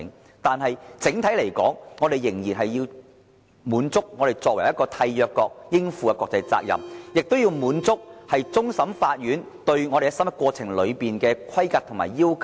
然而，整體來說，我們仍然要滿足香港作為締約國應有的國際責任，亦要滿足終審法院對審核過程的規格及要求。